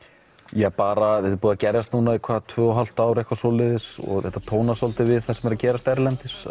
já bara er búið að gerjast núna í tvö og hálft ár eitthvað svoleiðis og þetta tónar svolítið við það sem er að gerast erlendis